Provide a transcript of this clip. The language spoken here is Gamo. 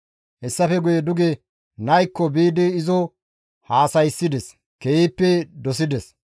Hessafe guye duge naykko biidi izo haasayssides; keehippe izo dosides.